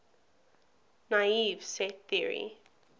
naive set theory